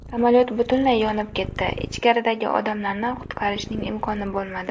Samolyot butunlay yonib ketdi, ichkaridagi odamlarni qutqarishning imkoni bo‘lmadi.